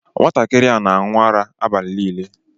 Nwatakịrị a na-aṅụ ara abalị niile.